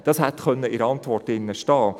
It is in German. Das hätte in der Antwort stehen können.